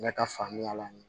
Ne ka faamuya la